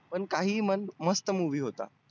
पण काही म्हण मस्त movie होता.